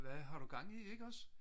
hvad har du gang i ikke også